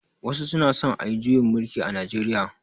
Wasu suna son ayi juyin mulki a Najeriya.